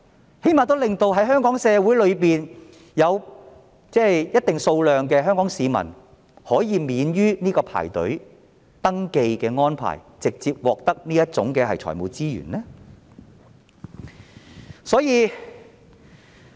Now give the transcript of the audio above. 最低限度令香港社會有一定數量的香港市民可以不用排隊登記，直接獲得這類財務資源。